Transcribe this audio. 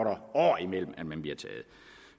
år imellem at man bliver taget